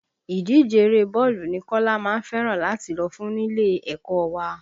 Ìdíje eré bọ́ọ̀lù ni Kọ́lá má ń fẹ́ràn láti lọ fún nílé ẹ̀kọ́ wa